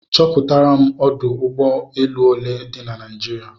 Chọpụtaram ọdụ ụgbọ elu ole di na Naịjirịa